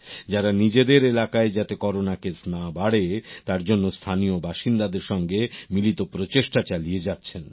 যারা নিজেদের এলাকায় যাতে করোনা কেস না বাড়ে তার জন্য স্থানীয় বাসিন্দাদের সঙ্গে মিলিত প্রচেষ্টা চালিয়ে যাচ্ছেন